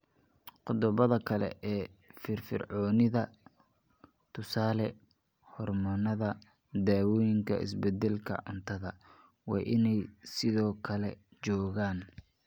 Qodobbada kale ee firfircoonida (tusaale, hormoonnada, daawooyinka, isbeddelka cuntada) waa inay sidoo kale joogaan.